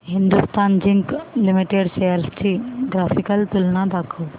Hindustan zinc limited shares ची graphical तुलना दाखव